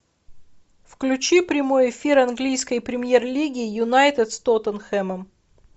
включи прямой эфир английской премьер лиги юнайтед с тоттенхэмом